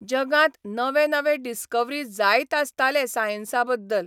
जगांत नवे नवे डिस्कवरी जायत आसताले सायन्सा बद्दल.